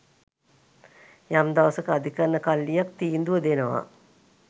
යම් දවසක අධිකරන කල්ලියක් තීන්දුව දෙනවා.